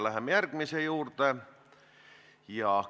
Läheme järgmise küsimuse juurde.